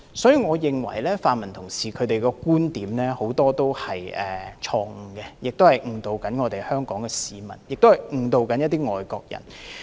所以，我認為泛民同事的論點很多都是錯誤，誤導香港市民和外國人。